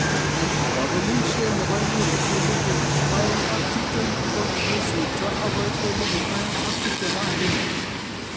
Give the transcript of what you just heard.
Kobelishet nebo Euro 2020 kokogisipto agoi 2021